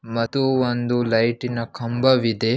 ಮತ್ತು ಒಂದು ಲೈಟಿನ ಕಂಬ ಇದೆ.